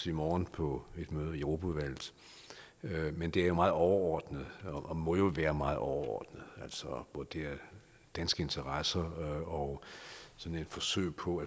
i morgen på et møde i europaudvalget men det er meget overordnet og må jo være meget overordnet altså vurdere danske interesser og sådan et forsøg på